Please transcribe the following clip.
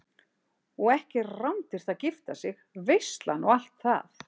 Og er ekki rándýrt að gifta sig, veislan og allt það?